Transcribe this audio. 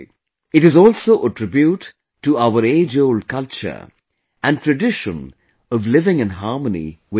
It is also a tribute to our ageold culture and tradition of living in harmony with nature